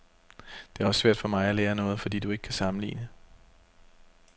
Det er også svært for mig at lære noget, fordi du ikke kan sammenligne.